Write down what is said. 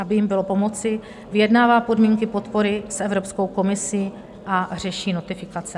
Aby jim bylo pomoci, vyjednává podmínky podpory s Evropskou komisí a řeší notifikace.